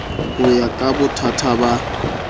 ho ya ka bothaka ba